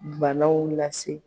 Banaw lase